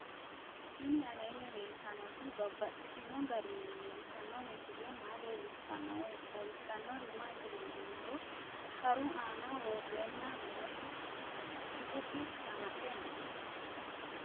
Tinni aleenni leelittannotti babaxxittinno garinni leelittanno misile maa leelishshanno woy xawisannori maattiya yinummoro sharu aanna worrenna nootti kittotte shamaxxe noo